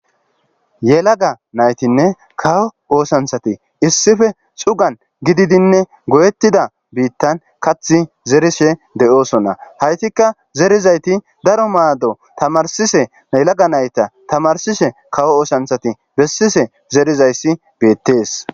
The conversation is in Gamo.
yelaga naytinne kawo oosanthati issife xugan gididinne goyettida biittan kath zerishe de7oosonna haytikka zerizayti daro maado tamarsise yelaga nayta tamarsishe kawo oosanthati bessise zeerizayssi beettees